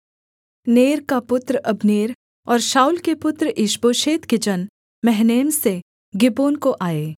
नेर का पुत्र अब्नेर और शाऊल के पुत्र ईशबोशेत के जन महनैम से गिबोन को आए